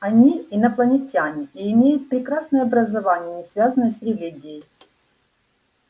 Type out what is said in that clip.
они инопланетяне и имеют прекрасное образование не связанное с религией